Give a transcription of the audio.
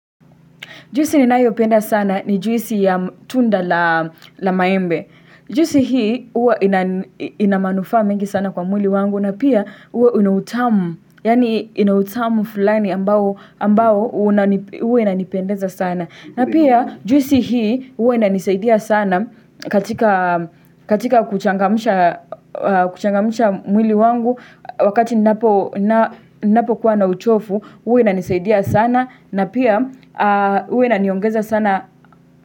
Juisi ninayoipenda sana ni juisi ya tunda la maembe. Juisi hii hua inamanufaa mengi sana kwa mwili wangu na pia hua inautamu. Yani inautamu fulani ambao hua unanipendeza sana. Na pia juisi hii hua inanisaidia sana katika kuchangamsha mwili wangu wakati ninapo kuwa na uchovu hua inanisaidia sana. Na pia hua iniongeza sana.